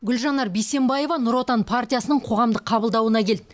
гүлжанар бейсенбаева нұр отан партиясының қоғамдық қабылдауына келді